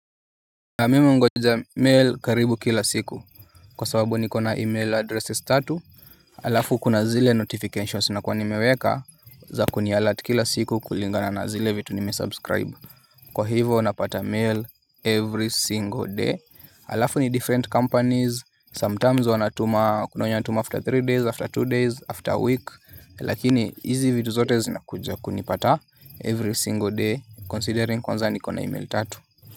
Na mimi hungoja mail karibu kila siku kwa sababu niko na email address tatu. Alafu kuna zile notifications na kuwa nimeweka za kunialat kila siku kulingana na zile vitu nime subscribe. Kwa hivyo unapata mail every single day. Alafu ni different companies sometimes wanatuma kuna wanatuma after three days after two days after week. Lakini hizi vitu zote zinakuja kunipata every single day considering kwanza niko na email tatu.